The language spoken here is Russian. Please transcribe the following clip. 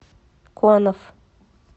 конов